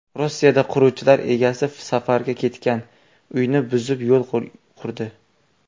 Rossiyada quruvchilar egasi safarga ketgan uyni buzib, yo‘l qurdi.